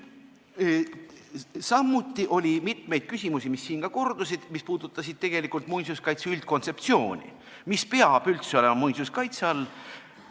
Samuti oli mitmeid küsimusi, mis siin ka kordusid ja mis puudutasid tegelikult muinsuskaitse üldkontseptsiooni, et mis peab üldse olema muinsuskaitse all.